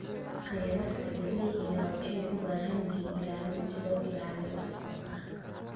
Khayraadka dabiiciga ahi waxay u baahan yihiin ilaalin si loo ilaaliyo wax soo saarka.